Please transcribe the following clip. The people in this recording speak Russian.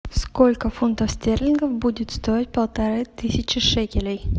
сколько фунтов стерлингов будет стоить полторы тысячи шекелей